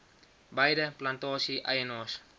beide plantasie eienaars